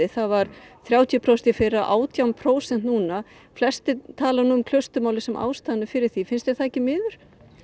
það var þrjátíu prósent í fyrra og átján prósent núna flestir tala um sem ástæðuna fyrir því finnst þér það ekki miður